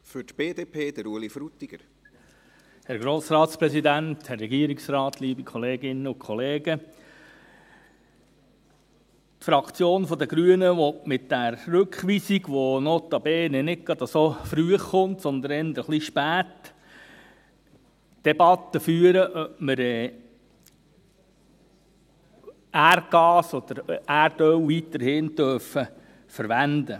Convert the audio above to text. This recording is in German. Die Fraktion der Grünen will mit dieser Rückweisung, die notabene nicht gerade früh, sondern eher ein bisschen spät kommt, die Debatte führen, ob wir Erdgas oder Erdöl weiterhin verwenden dürfen.